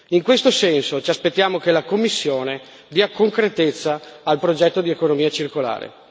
In questo senso, ci aspettiamo che la Commissione dia concretezza al progetto di economia circolare.